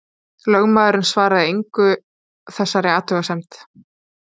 Lögmaðurinn svaraði engu þessari athugasemd.